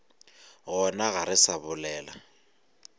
gona ga re sa bolela